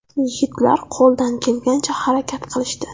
Yigitlar qo‘ldan kelgancha harakat qilishdi.